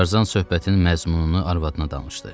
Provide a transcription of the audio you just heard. Tarzan söhbətinin məzmununu arvadına danışdı.